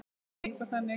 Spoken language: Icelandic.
Sú beyging var þannig